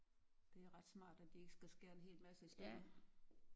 Det er ret smart at de ikke skal skære en hel masse i stykker